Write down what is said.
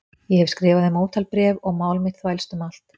Ég hef skrifað þeim ótal bréf og mál mitt þvælst um allt